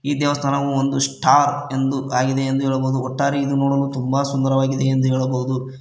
ಈ ದೇವಸ್ಥಾನವು ಒಂದು ಸ್ಟಾರ್ ಎಂದು ಆಗಿದೆ ಎಂದು ಹೇಳಬಹುದು ಒಟ್ಟಾರೆ ಇದು ನೋಡಲು ತುಂಬ ಸುಂದರವಾಗಿದೆ ಎಂದು ಹೇಳಬಹುದು.